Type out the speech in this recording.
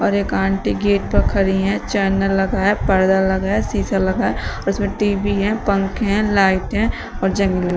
एक aunty gate पे खड़ी हैं चैनल लगा है पर्दा लगा है शीशा लगा है उसमें टी_वी हैं पंखे लाइट हैं और जन--